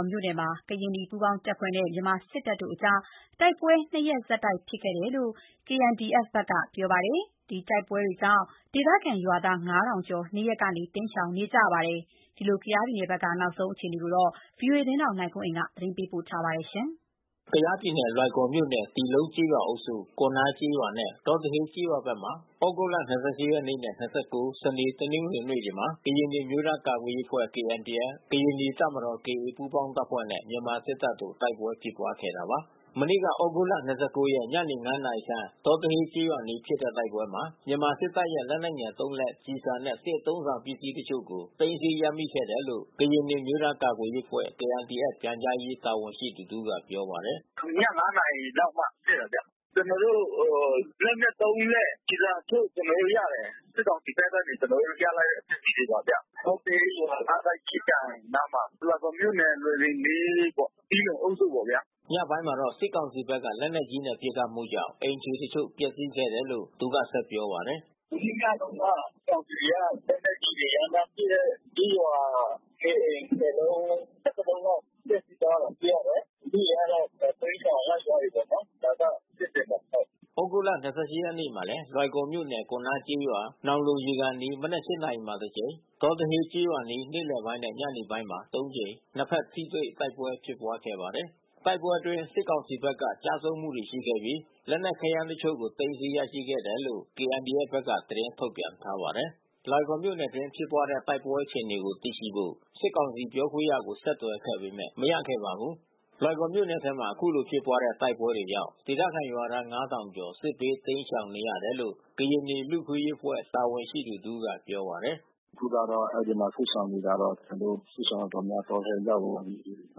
ာ်မြို့နယ်မှာ ကရင်နီပူးပေါင်းတပ်ဖွဲ့နဲ့ မြန်မာစစ်တပ်တို့အကြား တိုက်ပွဲ ၂ ရက်ဆက် ဖြစ်ခဲ့တယ်လို့ KNDF ဘက်က ပြောပါတယ်။ တိုက်ပွဲကြောင့် ဒေသခံ ရွာသား (၅၀၀၀) ကျော် နေရပ်ကနေ တိမ်းရှောင် နေရပါတယ်။ ဒီအခြေအနေကိုဗွီအိုအေသတင်းထောက် နိုင်ကွန်းအိန်ကနေ သတင်းပေးပို့ထားပါတယ်။ ကယားပြည်နယ်လွိုင်ကော်မြို့နယ် တီးလုံကျေးရွာအုပ်စု၊ ကွန်နားကျေးရွာနဲ့ ဒေါတဟေးကျေးရွာဘက်မှာ သြဂုတ်လ (၂၈) ရက်နေ့နဲ (၂၉) စနေ၊ တနင်္ဂနွေနေ့ေတွေမှာ ကရင်နီအမျိုးသား ကာကွယ်ရေးအဖွဲ့ KNDF၊ ကရင်နီ တပ်မ တော် KA ပူးပေါင်း တပ်ဖွဲ့နဲ့ မြန်မာစစ်တပ်တို့တိုက်ပွဲဖြစ်ပွါးခဲ့တာပါ။ မနေ့ကသြဂုတ်လ (၂၉) ရက် ညနေ (၅) နာရီခန့် ဒေါတဟေးကျေးရွာအနီး ဖြစ်တဲ့တိုက်ပွဲမှာ မြန်မာစစ်တပ်ရဲ့ လက်နက်ငယ် (၃)လက်၊ ကျည်ဆံနဲ့ စစ်အသုံးအဆောင်ပစ္စည်းအချို့ကိုသိမ်းဆည်းရမိခဲ့တယ် လို့ ကရင်နီအမျိုး သားကာကွယ် ရေးအဖွဲ့ KNDFပြန်ကြားရေး တာဝန်ရှိသူတဦးကပြောပါတယ်။ “ ည(၅)နာရီလောက်မှာဖြစ်တာဗျ။ ကျွန်တော်တို့လက်နက်(၃)လက် ကျည်ဆံတချို့ကျွန်တော်တို့ရတယ်။ စစ်ကောင်စီ ဘက်ကနေကျွန်တော်တို့ရလိုက်တဲ့ပစ္စည်းတွေပါဗျ။ ဒေါတဟေးရွာ ငါးထပ်ကြီးကန်အနားမှာ လွိုင်ကော်မြို့နယ် လွိုင်လင်လေးပေါ့။ တီးလုံအုပ်စုပေါ့ဗျာ။” ညပိုင်းမှာတော့ စစ်ကောင်စီဘက်ကလက်နက်ကြီးနဲ့ပစ်ခတ်မှုကြောင့် အိမ်ခြေတချို့ပျက်စီးခဲ့ တယ်လို့ သူကဆက် ပြောပါတယ်။ “ မနေ့ညတုန်းက စစ်ကောင်စီကလက်နက်ကြီးတွေရမ်းသန်းပစ်လို့ ကျေးရွာ(၁၀)အိမ် (၁၀)လုံး(၁၁)လုံးလောက် ပျက်စီးသွားတာတွေ့ရတယ်။ လူထုတွေကတော့တိမ်းရှောင်ရောက်သွားပြီးပေါ့နော်။ ” သြဂုတ်လ(၂၈)ရက်နေ့မှာလဲ လွိုင်ကော်မြို့နယ် ကွန်နားကျေးရွာ၊ နောင်လုံရေကန်အနီး မနက် (၈) နာရီမှာတစ်ကြိမ်၊ ဒေါတဟေးကျေးရွာအနီး နေ့လည်နဲ့ ညနေပိုင်းမှာ သုံးကြိမ် နှစ်ဖက်ထိတွေ့တိုက်ပွဲများဖြစ်ပွားခဲ့ပါတယ်။ တိုက်ပွဲအတွင်းစစ်ကောင်စီဘက်က ကျဆုံးမှုတွေရှိခဲ့ပြီး လက်နက် ခဲယမ်းအချို့ကို သိမ်းဆီးရရှိခဲ့တယ်လို့ KNDF ဘက်က သတင်းထုတ်ပြန်ထားပါတယ်။ လွိုင်ကော်မြို့နယ်အတွင်း ဖြစ်ပွါးတဲ့တိုက်ပွဲအခြေအနေကိုသိရှိဖို့ စစ်ကောင်စီပြောခွင့်ရကို ဆက်သွယ်ခဲ့ပေမဲ့ မရခဲ့ပါဘူး။ လွိုင်ကော်မြို့နယ်ထဲမှာ ခုလိုဖြစ်ပွားတဲ့ တိုက်ပွဲတွေကြောင့် ဒေသခံရွာသား (၅၀၀၀) ကျော် စစ်ဘေးတိမ်းရှောင်နေရ တယ်လို့ ကရင်နီ လူ့အခွင့်အရေးဖွဲ့ တာဝန်ရှိသူတဦးကပြောပါတယ်။ “ အခုကတော့ အဲဒီမှာစစ်ရှောင်တွေကတော့ ကျွန်တော်တို့ စစ်ရှောင်တော်တော်များများတောထဲရောက်ကုန်ပြီး။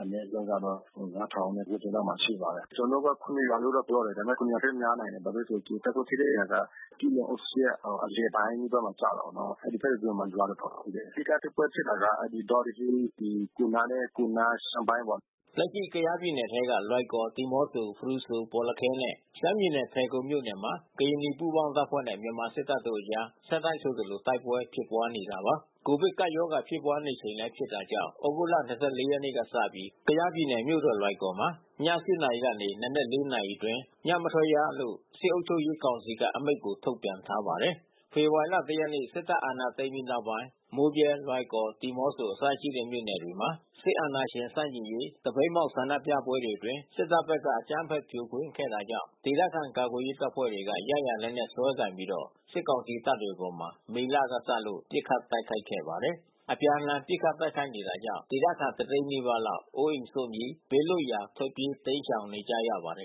အနည်း ဆုံး တော့(၅၀၀၀)ကျော်ကျော်လောက်မှာရှိပါတယ်။ ကျွန်တော်တို့က(၇)ရွာလို့တော့ပြောတယ်။ ဒါပေမဲ့(၇)ရွာ ထက် များနိုင်တယ်။ ဘာဖြစ်လဲဆို တိုက်ပွဲဖြစ်တဲ့နေရာက တီးလုံအုပ်စုရဲ့အလယ်ပိုင်းမှာကျတော့ အဲဒီဖက်မှာရွာတော် တော်ရှိတယ်။ အဓိကတိုက်ပွဲဖြစ်တာက အဲဒီ ဒေါတဟေး ကွန်နားနဲ့ ကွန်နားရှမ်းပိုင်းပေါ့။ ” လက်ရှိကယားပြည်နယ်ထဲက လွိုင်ကော် ဒီးမော့ဆို၊ ဖရူဆို၊ ဘော်လခဲနဲ့ ရှမ်းပြည်နယ်ဖယ်ခုံမြို့နယ်မှာ ကရင်နီပူးပေါင်း တပ်ဖွဲ့နဲ့ မြန်မာစစ်တပ်တို့အကြား ဆက်တိုက်ဆိုသလို တိုက်ပွဲတွေဖြစ်ပွားနေတာပါ။ ကိုဗစ်ကပ်ရောဂါ ဖြစ်ပွားနေ ချိန်လည်းဖြစ်တာကြောင့် ဩဂုတ်လ ၂၄ ရက်နေ့ကစပြီး ကယားပြည်နယ် မြို့တော်လွိုင်ကော်မြို့မှာ ည(၈)နာရီမှ နံနက်(၄)နာရီအတွင်း ညမထွက်ရလို့ စစ်အုပ်ချုပ်ရေးကောင်စီက အမိန့်ကို ထုတ်ပြန်ထားပါတယ်။ ဖေဖော်ဝါရီလ ၁ ရက် စစ်တပ်အာဏာသိမ်းပြီးတဲ့နောက်ပိုင်း မိုးဗြဲ၊ လွိုင်ကော်၊ ဒီမော့ဆို အစရှိတဲ့မြို့နယ်တွေမှာ စစ်အာဏာရှင်ဆန့်ကျင်ရေး သပိတ်မှောက်ဆန္ဒပွဲတွေအတွင်း စစ်တပ်ဘက်ကအကြမ်းဖက်ဖြိုခွင်းခဲ့တာကြောင့် ဒေသခံကာ ကွယ်ရေးတပ်ဖွဲ့တွေက ရရာလက်နက်စွဲကိုင်ပြီးတော့ စစ်ကောင်စီတပ်တွေအပေါ် မေလကစလို့ ပစ်ခတ် တိုက်ခိုက်ခဲ့ပါတယ်။ အပြန်အလှန် ပစ်ခတ်တိုက်ခိုက်နေတာကြောင့် ဒေသခံ တသိန်းနီးပါးလောက် အိုးအိမ် စွန့်ပြီး ဘေးလွတ်ရာ ထွက်ပြေးတိမ်းရှောင်နေကြရပါတယ်